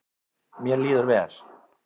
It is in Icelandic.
Mér líður vel.